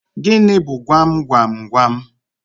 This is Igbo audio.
Gịnị bu gwam gwam gwam?